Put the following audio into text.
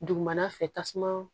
Dugumana fɛ tasuma